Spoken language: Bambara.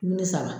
Ni ne sara